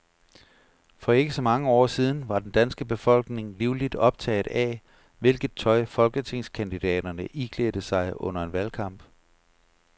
For ikke så mange år siden var den danske befolkning livligt optaget af, hvilket tøj folketingskandidaterne iklædte sig under en valgkamp.